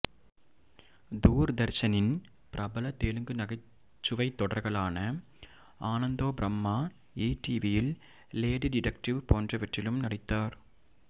தூர்தர்ஷனின் பிரபலமான தெலுங்கு நகைச்சுவைத் தொடர்களான ஆனந்தோபிரம்மா ஈடிவியில் லேடி டிடெக்டிவ் போன்றவற்றிலும் நடித்தார்